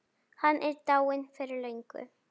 Hann er dáinn fyrir löngu.